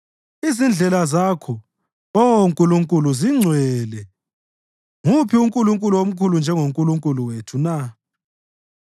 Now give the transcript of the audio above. Izindlela zakho, Oh Nkulunkulu, zingcwele; nguphi unkulunkulu omkhulu njengoNkulunkulu wethu na?